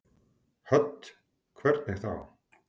Hödd: Hvernig þá?